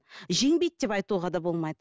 жеңбейді деп айтуға да болмайды